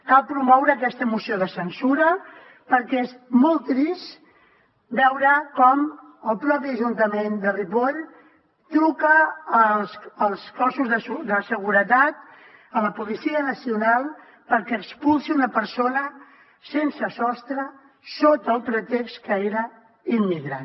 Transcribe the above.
cal promoure aquesta moció de censura perquè és molt trist veure com el propi ajuntament de ripoll truca als cossos de seguretat a la policia nacional perquè expulsi una persona sense sostre sota el pretext que era immigrant